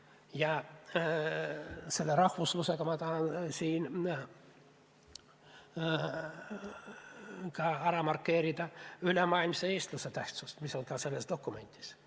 Ja rahvuslusest rääkides ma tahan siin markeerida ülemaailmse eestluse tähtsust, mis on ka selles dokumendis kirjas.